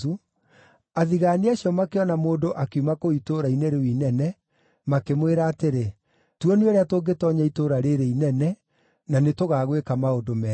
athigaani acio makĩona mũndũ akiuma kũu itũũra-inĩ rĩu inene, makĩmwĩra atĩrĩ, “Tuonie ũrĩa tũngĩtoonya itũũra rĩĩrĩ inene, na nĩtũgaagwĩka maũndũ mega.”